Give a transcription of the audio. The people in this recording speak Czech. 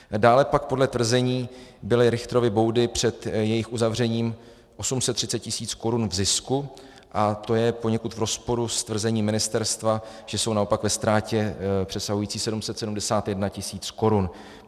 Dále pak podle tvrzení byly Richtrovy boudy před jejich uzavřením 830 tisíc korun v zisku a to je poněkud v rozporu s tvrzením ministerstva, že jsou naopak ve ztrátě přesahující 771 tisíc korun.